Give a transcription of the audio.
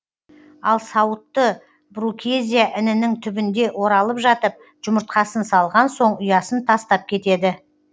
ал сауытты брукезия інінің түбінде оралып жатып жұмыртқасын салған соң ұясын тастап кетеді